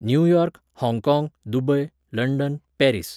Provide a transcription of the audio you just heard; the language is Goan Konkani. न्यूयॉर्क, हाँगकाँग, दुबय, लंडन, पॅरिस